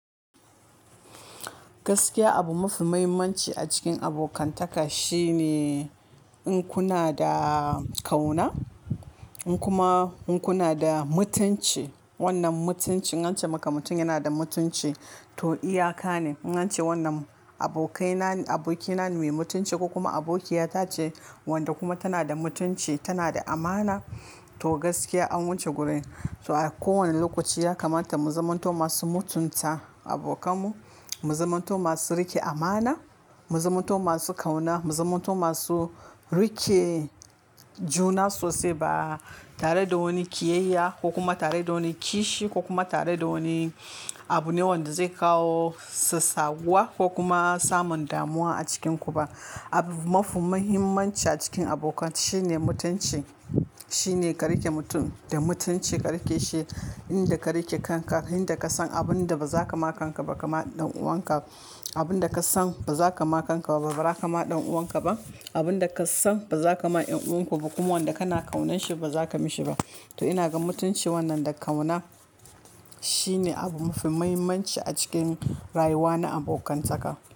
Gaskiya abu mafi muhimmanci a cikin abokantaka shine in kuna da ƙauna in kuma in kuna da mutunci. Wannan mutunci in ce maka mutum yana da mutunci to iyaka ne. In ce wannan abokaina, abokina ne mai mutunci ko kuma abokiya ta ce wanda kuma tana da mutunci tana da amana. To gaskiya an wuce gurin. To a kowane lokaci ya kamata mu zimanto masu mutunta abokanmu, mu zimanto masu rike amana, mu zimanto masu ƙauna, mu zimanto masu rike juna sosai ba tare da wani ƙiyayya ko kuma tare da wani kishi ko kuma tare da wani abu ne wanda zai kawo sassaguwa ko kuma samun damuwa a cikinku ba. Abu mafi muhimmanci a cikin abokantaka shine mutunci. Shine ka rike mutum da mutunci ka rike shi inda ka rike kanka, inda ka san abun da ba za ka ma kanka ba, kama ɗan uwanka abun da ka san ba za ka ma kanka ba baza kama ɗan uwanka ba. Abun da ka san ba za ka ma ƴan uwanku ba, kuma wanda kana ƙaunan shi ba za ka mishi ba. To ina ga mutunci wannan da ƙauna shine abu mafi muhimmanci a cikin rayuwa na abokantaka.